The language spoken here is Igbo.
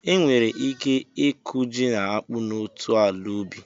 E nwere ike ịkụ ji na akpu n'otu ala ubi.